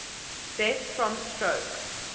deaths from stroke